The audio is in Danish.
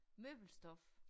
Møbelstof